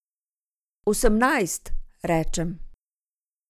Osemnajst, rečem.